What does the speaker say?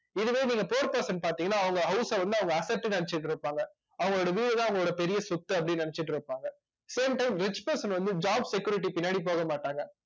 இதுவே நீங்க poor person பாத்தீங்கன்னா அவங்க house அ வந்து அவங்க asset ன்னு நினைச்சிட்டு இருப்பாங்க அவங்களோட வீடு தான் அவங்களோட பெரிய சொத்து அப்படின்னு நினைச்சுட்டு இருப்பாங்க same time rich person வந்து job security பின்னாடி போக மாட்டாங்க